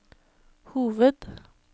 hoved